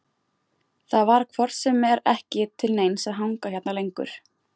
Það var hvort sem er ekki til neins að hanga hérna lengur.